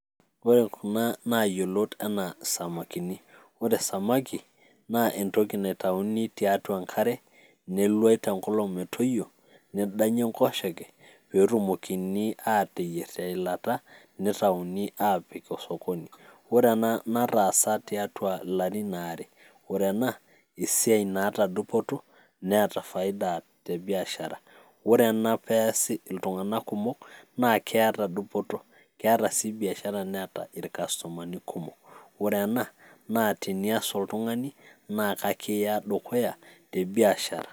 ore kuna naayiolot anaa samakini, ore samaki naa entoki naitauni tiatua enkare neluai te nkolong metoyio, nedanyi enkoshoke pee etumokini aateyier teilata neitauni aapik osokoni. ore ena nataasa tiatua ilarin aare,,ore ena esiai naata dupoto neeta faida te biashara, ore ena peesi iltunganak kumok naa keeta dupoto, keeta sii biashara neeta irkastomani kumok. ore ena naa tenias oltungani naa ekiya dukuya te biashara.